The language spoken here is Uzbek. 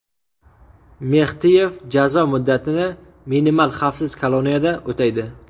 Mextiyev jazo muddatini minimal xavfsiz koloniyada o‘taydi.